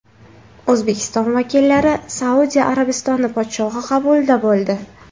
O‘zbekiston vakillari Saudiya Arabistoni podshohi qabulida bo‘ldi.